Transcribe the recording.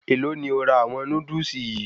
Èlò ni o ra àwọn Núdúsì yìí?